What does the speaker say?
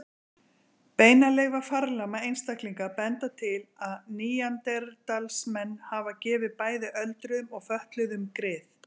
Beinaleifar farlama einstaklinga benda til að neanderdalsmenn hafi gefið bæði öldruðum og fötluðum grið.